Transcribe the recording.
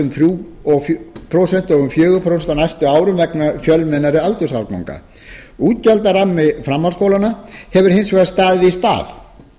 um þrjú prósent og um fjögur prósent á næstu árum vegna fjölmennari aldursárganga útgjaldarammi framhaldsskóla hefur hins vegar staðið í stað